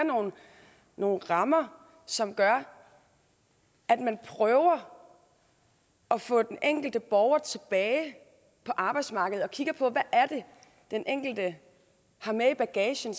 nogle rammer som gør at man prøver at få den enkelte borger tilbage på arbejdsmarkedet og kigger på hvad den enkelte har med i bagagen